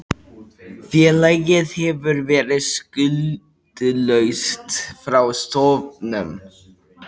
Félagið hefur verið skuldlaust frá stofnun